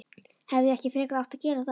Hefði ég ekki frekar átt að gera það?